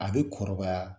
A bɛ kɔrɔbaya